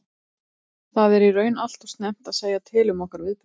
Það er í raun allt og snemmt að segja til um okkar viðbrögð.